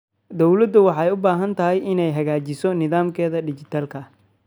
Dawladdu waxay u baahan tahay inay hagaajiso nidaamyada dhijitaalka ah.